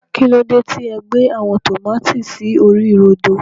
kílódé tí e gbé àwọn tòmátì sí orí rodo.